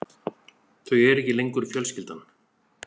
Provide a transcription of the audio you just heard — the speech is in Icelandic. Þau eru ekki lengur fjölskyldan.